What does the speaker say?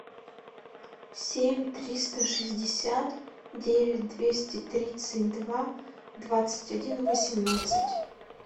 семь триста шестьдесят девять двести тридцать два двадцать один восемнадцать